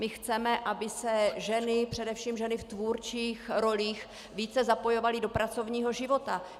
My chceme, aby se ženy, především ženy v tvůrčích rolích, více zapojovaly do pracovního života.